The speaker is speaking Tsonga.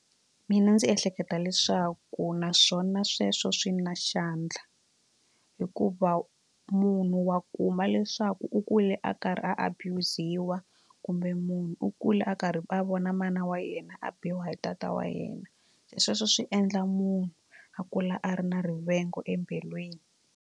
Mina ndzi ehleketa leswaku naswona sweswo swi na xandla hikuva munhu wa kuma leswaku u kule a karhi a abuse-wa kumbe munhu u kule a karhi a vona mana wa yena a biwa hi data wa yena sweswo swi endla munhu a kula a ri na rivengo embilwini.